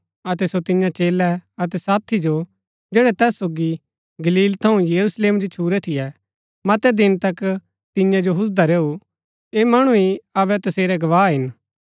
अतै सो तियां चेलै अतै साथी जो जैड़ै तैस सोगी गलील थऊँ यरूशलेम जो छुरै थियै मतै दिन तक तियां जो हुजदा रैऊ ऐह मणु ही अबै तसेरै गवाह हिन